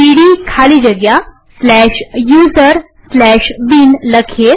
સીડી ખાલી જગ્યા userbin લખીએ